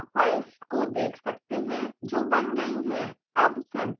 हम log files को देख सकते हैं जो बन गई हैं